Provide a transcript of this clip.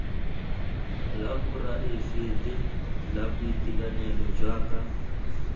la poraefete la boitekanelo jaaka